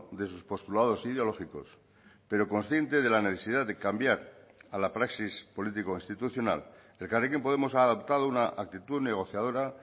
de sus postulados ideológicos pero consciente de la necesidad de cambiar a la praxis político institucional elkarrekin podemos ha adoptado una actitud negociadora